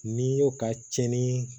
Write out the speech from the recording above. N'i y'o ka cɛnni